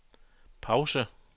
pause